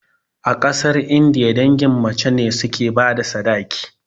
A ƙasar indiya, dangin mace ne suke bada sadaki